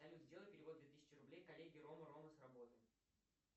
салют сделай перевод две тысячи рублей коллеге рома рома с работы